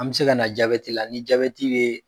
An bɛ se ka na jabɛti la ni jabɛti be